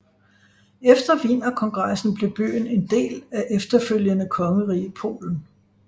Efter Wienerkongressen blev byen en del af efterfølgende kongerige Polen